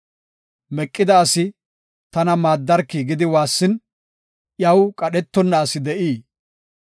Meqida asi, “Tana maaddarki” gidi waassin, iyaw qadhetonna asi de7ii?